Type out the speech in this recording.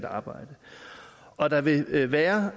arbejde og der vil være